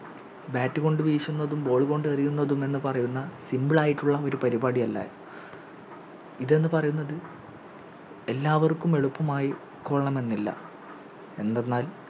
Bat കൊണ്ട് വീശുന്നതും Ball കൊണ്ട് എറിയുന്നതും എന്ന് പറയുന്ന Simple ആയിട്ടുള്ള ഒരു പരിപാടിയല്ലായിരുന്നു ഇത് എന്ന് പറയുന്നത് എല്ലാവർക്കും എളുപ്പമായി കൊള്ളണമെന്നില്ല എന്നുപറഞ്ഞാൽ